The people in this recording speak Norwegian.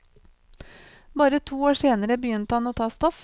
Bare to år senere begynte han å ta stoff.